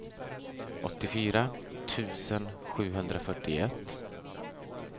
åttiofyra tusen sjuhundrafyrtioett